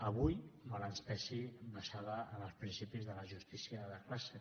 avui mal ens pesi basada en els principis de la justícia de classe